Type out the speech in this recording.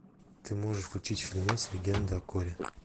ты можешь включить фильмец легенда о корре